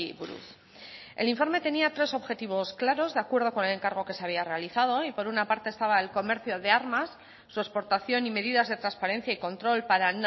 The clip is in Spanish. buruz el informe tenía tres objetivos claros de acuerdo con el encargo que se había realizado y por una parte estaba el comercio de armas su exportación y medidas de transparencia y control para